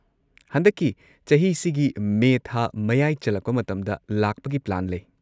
ꯍꯟꯗꯛꯀꯤ ꯆꯍꯤꯁꯤꯒꯤ ꯃꯦ ꯊꯥ ꯃꯌꯥꯏ ꯆꯜꯂꯛꯄ ꯃꯇꯝꯗ ꯂꯥꯛꯄꯒꯤ ꯄ꯭ꯂꯥꯟ ꯂꯩ꯫